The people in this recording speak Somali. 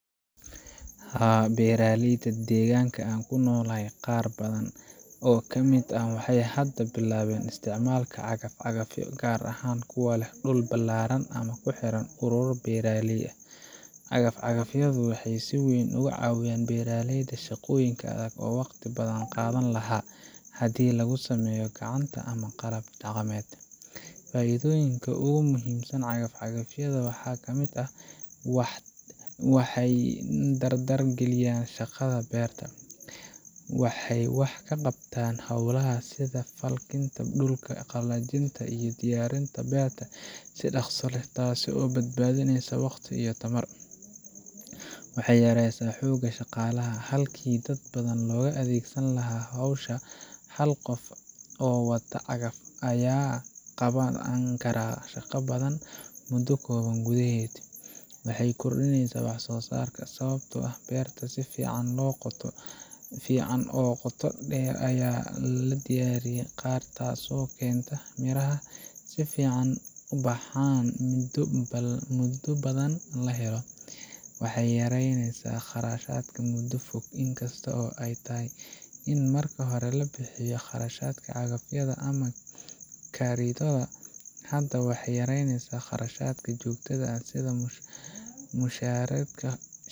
Haa beeraleyda degaanka aan ku nolahay qaar badaan oo ka mid ah waaxey hada bilawen isticmaalka cagafcagafyo gar aahan kuwa leh dhulul balaran ama kuhiran urur beeraley ah cagafcagafyo waaxey sii weyn ugu cawiyan beeraleyda shaqoyinka adaag oo waqtii badaan qadhaani laa hadi lagu sameyo gacaanta ama qalab daqamed faaiidoyinka ugu muhimsan cagafyadha waaxa ka mid ah waxey dardar giliyan shaqadha beerta waaxey waax kaqabtaan xolaha sidha falinta dhulka qalajinta iyo diyarinta beerta si daqsi leeh taa sii oo badbadineyso waqtii iyo tamaar waxey yareysa hooga shaqalaha halkii daad badaan logaa adegsani laaha xowsha hal qof oo cagaf aya qawani kara shaqa badaan muudu kowaan gudexeed waaxey kordiineysa waax so saar sababato ah beerta siificaan lo qooto deer ya lala diyaari taas oo keento miraha siifican u baxaan mudu baadan la helo waxey yareyneysa qarashadka muudo foog in kasto ey taahay in markanhore labixiyi qarashqdka cagafydha ama karidada hada waxey yareyneysa qarashadka joogtada ah sidhaa mushareedka